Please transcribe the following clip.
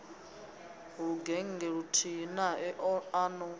lugennge luthihi nae a no